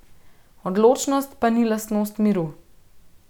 Odločnost pa ni lastnost miru.